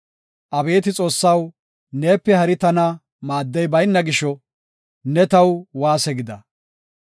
Abeeti Xoossaw, neepe hari tana maaddey bayna gisho, ne taw waase gida.